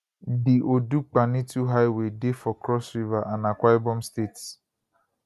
di odukpaniitu highway dey for cross river and akwa ibom states